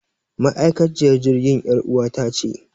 Ma'aikaciyar jirgin yar uwata ce